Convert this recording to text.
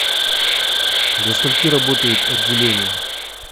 до скольки работает отделение